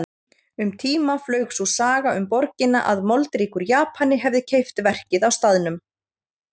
Um tíma flaug sú saga um borgina að moldríkur Japani hefði keypt verkið á staðnum.